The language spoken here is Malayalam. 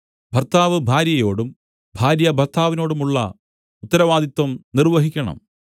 ഭർത്താവ് ഭാര്യയോടും ഭാര്യ ഭർത്താവിനോടുമുള്ള ഉത്തരവാദിത്തം നിർവഹിക്കണം